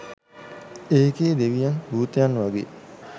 ඒකෙ දෙවියන් භූතයන් වගේ